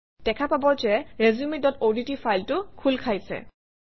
দেখা পাব যে resumeঅডট ফাইলটো খোল খাইছে